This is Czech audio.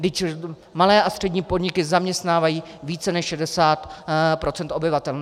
Vždyť malé a střední podniky zaměstnávají více než 60 % obyvatel.